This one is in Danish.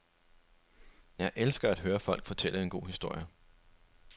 Jeg elsker at høre folk fortælle en god historie.